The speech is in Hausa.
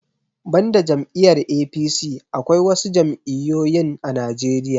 Banda jam'iyar 'A.P.C' Akwai wasu jam'iyoyin a najeriya